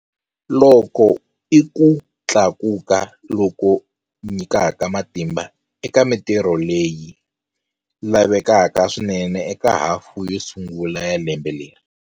Loku i ku tlakuka loku nyikaka matimba eka mitirho leyi lavekaka swinene eka hafu yo sungula ya lembe leri.